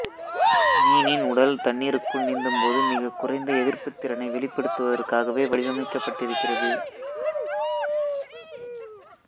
மீனின் உடல் தண்ணீருக்குள் நீந்தும்போது மிகக் குறைந்த எதிர்ப்புத்திறனை வெளிப்படுத்துவதற்காக வடிவமைக்கப்பட்டிருக்கிறது